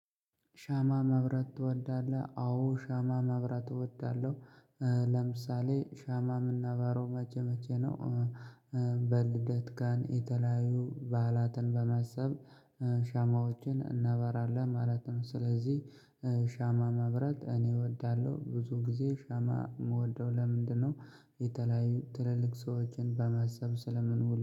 ሻማ መብራት ትወዳለህ አዎ ሻማ መብራት እወዳለው። ለምሳሌ ሻማ ምናበሮው መቼ መቼ ነው። በልደት ቀን የተለያዩ በዓላትን በመሰብ ሻማዎችን እናበራለን ማለት ነው። ስለዚህ ሻማ መብራት እኔ እወዳለው። ብዙ ጊዜ ሻማ ምወደው ለምንድነው? የተለያዩ ትልልቅ ሰዎችን በማሰብ ስለምንውል